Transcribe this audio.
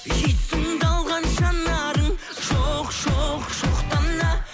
есімді алған жанарың жоқ жоқ жоқ дана